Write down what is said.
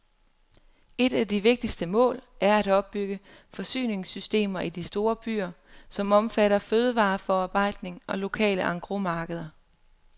Et af de vigtigste mål er at opbygge forsyningssystemer i de store byer, som omfatter fødevareforarbejdning og lokale engrosmarkeder.